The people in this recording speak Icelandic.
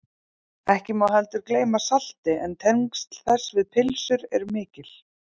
ekki má heldur gleyma salti en tengsl þess við pylsur eru mikil